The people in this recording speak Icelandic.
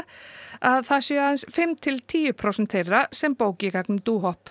að það séu aðeins fimm til tíu prósent þeirra sem bóki í gegnum